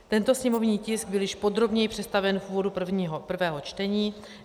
Tento sněmovní tisk byl již podrobněji představen v úvodu prvého čtení.